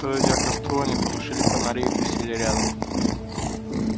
подойдя к костру они потушили фонари и присели рядом